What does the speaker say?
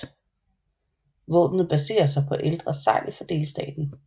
Våbnet baserer sig på ældre segl for delstaten